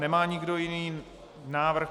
Nemá nikdo jiný návrh.